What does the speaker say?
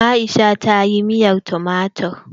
Aisha tayi miyar tumatir.